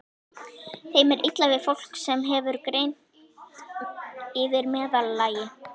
Þeim er illa við fólk, sem hefur greind yfir meðallagi.